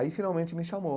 Aí, finalmente, me chamou.